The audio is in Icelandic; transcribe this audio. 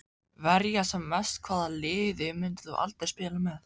Verja sem mest Hvaða liði myndir þú aldrei spila með?